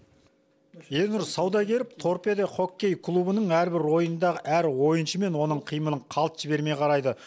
ернұр саудагеров торпедо хоккей клубының әрбір ойынындағы әр ойыншы мен оның қимылын қалт жібермей қарайды